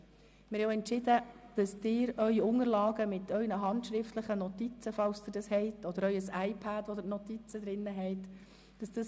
Wir haben auch entschieden, dass Ihre Unterlagen mit Ihren handschriftlichen Notizen, falls Sie solche haben, oder Ihr iPad, auf welchem Sie Ihre Notizen haben, so bleiben, wie sie sind.